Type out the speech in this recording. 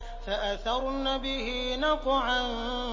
فَأَثَرْنَ بِهِ نَقْعًا